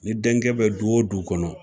Ni denkɛ bɛ du o du kɔnɔ